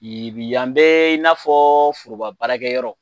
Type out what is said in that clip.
Yibi yan bɛ i n'afɔ foroba baarakɛyɔrɔ